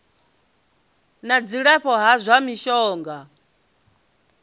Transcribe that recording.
na dzilafho la zwa mishonga